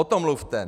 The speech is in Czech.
O tom mluvte!